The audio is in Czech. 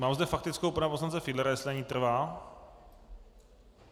Mám zde faktickou pana poslance Fiedlera, jestli na ní trvá.